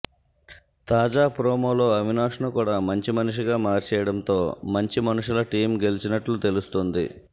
తాజా ప్రోమోలో అవినాష్ను కూడా మంచి మనిషిగా మార్చేయడంతో మంచి మనుషుల టీమ్ గెలిచినట్లు తెలుస్తోంది